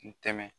N tɛmɛ